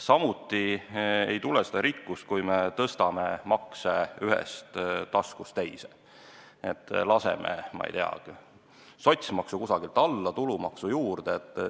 Samuti ei tule rikkust, kui me tõstame maksuraha ühest taskust teise – näiteks nii, et laseme, ma ei tea, sotsmaksu kuidagi alla ja keerame tulumaksu juurde.